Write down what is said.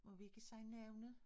Og vi kan sige navne?